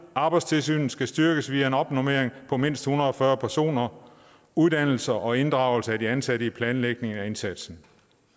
arbejdstilsynet skal styrkes via en opnormering på mindst en hundrede og fyrre personer uddannelse og inddragelse af de ansatte i planlægning af indsatsen